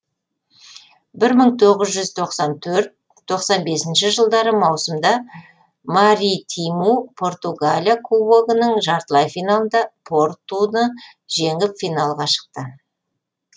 бір мың тоғыз жүз тоқсан төрт тоқсан бесінші жылдары маусымда маритиму португалия кубогының жартылай финалында портуны жеңіп финалға шықты